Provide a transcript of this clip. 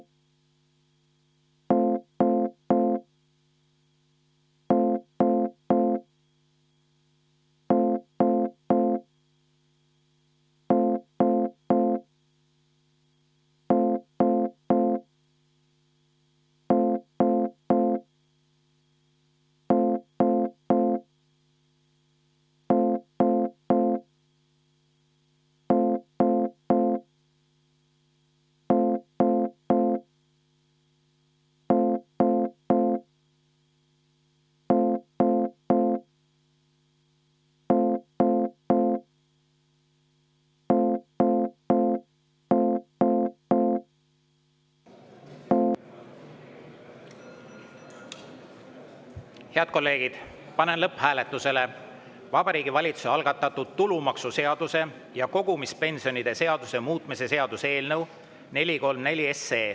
Head kolleegid, panen lõpphääletusele Vabariigi Valitsuse algatatud tulumaksuseaduse ja kogumispensionide seaduse muutmise seaduse eelnõu 434.